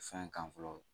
Fɛn kan fɔlɔ